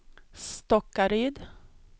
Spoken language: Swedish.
Stockaryd